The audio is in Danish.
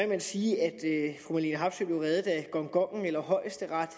man sige at fru marlene harpsøe blev reddet af gongongen eller højesteret